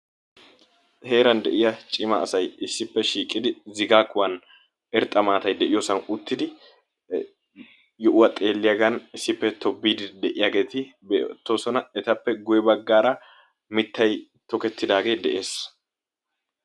Heeran de'iya cima asay issippe shiiqidi Zigaa kuwan irxxa maattay de'iyosan uttidi yohuwa xeeliyaagan issippe tobbiidi de'iyageeti beettoosona, etappe guye baggaara mittay tokkettidaagee dees.